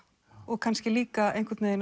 og kannski líka